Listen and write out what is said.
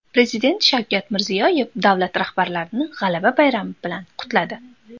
Prezident Shavkat Mirziyoyev davlat rahbarlarini G‘alaba bayrami bilan qutladi.